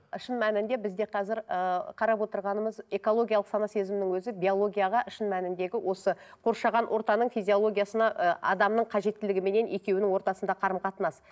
шын мәнінде бізде қазір ыыы қарап отырғанымыз экологиялық сана сезімнің өзі биологияға шын мәніндегі осы қоршаған ортаның физиологиясына ы адамның қажеттілігіменен екеуінің ортасынадағы қарым қатынас